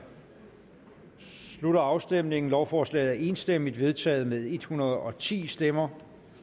slutter afstemningen lovforslaget er enstemmigt vedtaget med en hundrede og ti stemmer